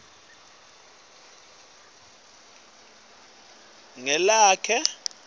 lotfola imali lengenako